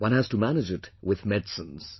One has to manage it with medicines